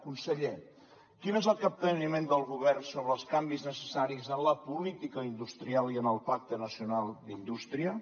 conseller quin és el capteniment del govern sobre els canvis necessaris en la política industrial i en el pacte nacional d’indústria